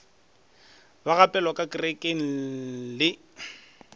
ba gapelwa ka kerekeng le